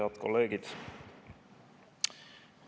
Head kolleegid!